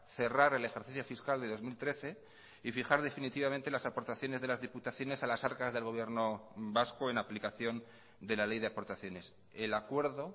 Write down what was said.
cerrar el ejercicio fiscal de dos mil trece y fijar definitivamente las aportaciones de las diputaciones a las arcas del gobierno vasco en aplicación de la ley de aportaciones el acuerdo